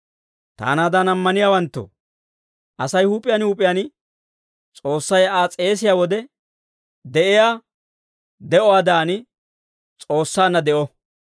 Taanaadan ammaniyaawanttoo, Asay huup'iyaan huup'iyaan S'oossay Aa s'eesiyaa wode de'iyaa de'uwaadan, S'oossaanna de'o.